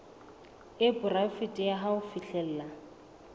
e poraefete ya ho fihlella